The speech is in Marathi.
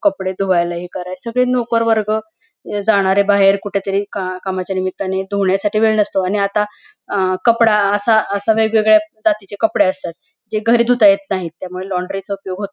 कपडे धुवायला हे काराय सगळे नोकर वर्ग जाणारे बाहेर कुठे तरी कामाच्या निमित्ताने धूवण्यासाठी वेळ नसतोआणि आता अ कपडा असा आशा वेगवेगळ्या जातीचे कपडे असतात जे घरी धूता येत नाहीत त्यामुळे लॉन्ड्रीचा उपयोग हो --